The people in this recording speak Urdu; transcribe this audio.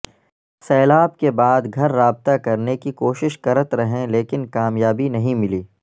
سیلاب کے بعد گھر رابطہ کرنے کی کوشش کرت رہیں لیکن کامیابی نہیں ملی